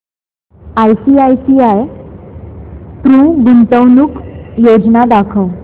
ICICI Pru गुंतवणूक योजना दाखव